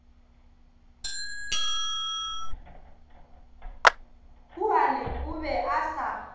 huane o be a sa